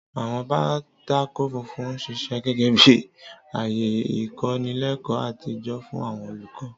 Àwọn pátákó funfun ń ṣiṣẹ́ gẹ́gẹ́ bí ààyè ìkọ́nilẹ́kọ̀ọ́ àtijọ́ fún àwọn olùkọ́.